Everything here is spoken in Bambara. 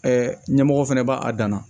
ɲɛmɔgɔ fɛnɛ b'a dan na